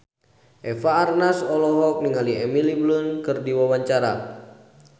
Eva Arnaz olohok ningali Emily Blunt keur diwawancara